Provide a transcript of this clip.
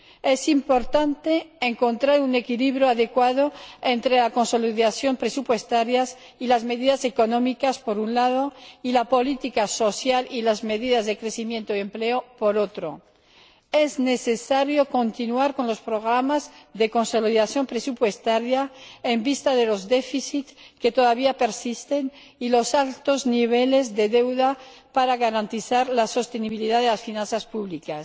Es importante encontrar un equilibrio adecuado entre la consolidación presupuestaria y las medidas económicas, por un lado, y la política social y las medidas de crecimiento y empleo, por otro. Es necesario continuar con los programas de consolidación presupuestaria en vista de los déficits que todavía persisten y los altos niveles de deuda para garantizar la sostenibilidad de las finanzas públicas,